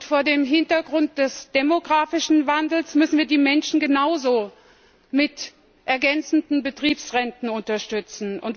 Vor dem Hintergrund des demografischen Wandels müssen wir die Menschen genauso mit ergänzenden Betriebsrenten unterstützen.